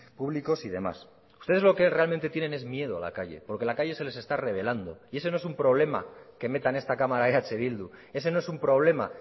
públicos y demás ustedes lo que realmente tienen es miedo a la calle porque la calle se les está revelando y ese no es un problema que meta en esta cámara eh bildu ese no es un problema